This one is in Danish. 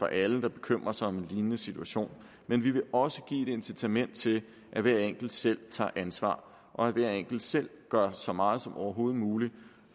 alle der bekymrer sig om en lignende situation men vi vil også give et incitament til at hver enkelt selv tager ansvar og at hver enkelt selv gør så meget som overhovedet muligt